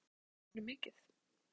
Þarf að breyta leikmannahópnum mikið?